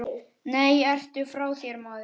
Nei, ertu frá þér, maður.